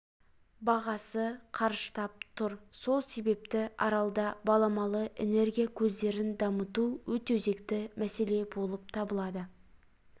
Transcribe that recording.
бағасы қарыштап тұр сол себепті аралда баламалы энергия көздерін дамыту өте өзекті мәселе болып табылады